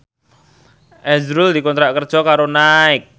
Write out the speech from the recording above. azrul dikontrak kerja karo Nike